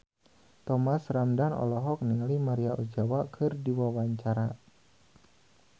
Thomas Ramdhan olohok ningali Maria Ozawa keur diwawancara